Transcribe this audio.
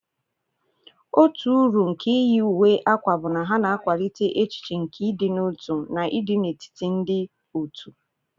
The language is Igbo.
otu uru nke iyi uwe akwa bụ na ha na-akwalite echiche nke ịdị n'otu na ịdị n'etiti ndị òtù.